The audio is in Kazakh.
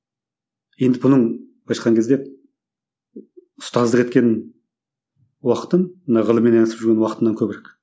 енді бұның былайша айтқан кезде ұстаздық еткен уақытым мына ғылыммен айналысып жүргеннен уақытымнан көбірек